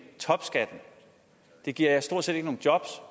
topskatten det giver stort set ikke nogen jobs